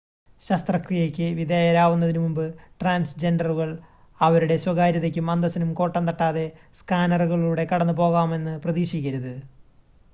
ശസ്ത്രകിയക്ക് വിധേയരാവുന്നതിന് മുൻപ് ട്രാൻസ് ജെൻഡറുകൾ അവരുടെ സ്വകാര്യതയ്ക്കും അന്തസ്സിനും കോട്ടം തട്ടാതെ സ്‌കാനറുകളിലൂടെ കടന്ന് പോകാമെന്ന് പ്രതീക്ഷിക്കരുത്